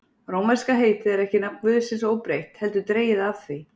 Rómverska heitið er ekki nafn guðsins óbreytt, heldur dregið af því.